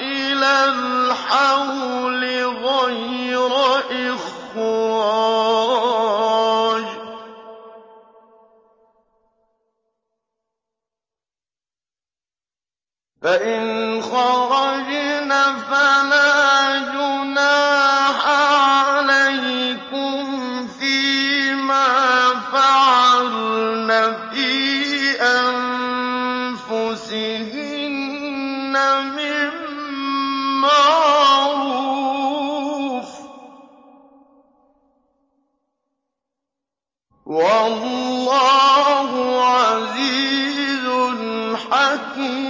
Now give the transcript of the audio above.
إِلَى الْحَوْلِ غَيْرَ إِخْرَاجٍ ۚ فَإِنْ خَرَجْنَ فَلَا جُنَاحَ عَلَيْكُمْ فِي مَا فَعَلْنَ فِي أَنفُسِهِنَّ مِن مَّعْرُوفٍ ۗ وَاللَّهُ عَزِيزٌ حَكِيمٌ